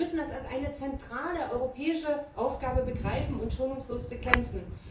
Wir müssen das als eine zentrale europäische Aufgabe begreifen und Diskriminierungen schonungslos bekämpfen.